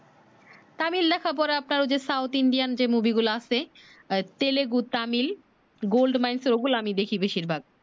তামিল লেখা পড়া তা South Indian যে মুভি গুলা আছে আহ তেলেগু তামিল Gold mines ওইগুলো দেখি আমি বেশির ভাগ